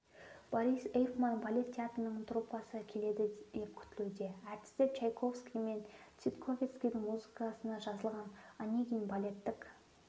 борис эйфман балет театрының труппасы келеді деп күтілуде әртістер чайковский мен ситковецкийдің музыкасына жазылған онегин балеттік